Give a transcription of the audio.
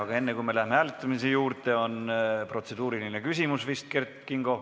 Aga enne, kui lähme hääletamise juurde, on Kert Kingol vist protseduuriline küsimus.